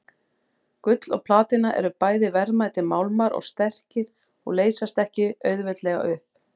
Gull og platína eru bæði verðmætir málmar og sterkir og leysast ekki auðveldlega upp.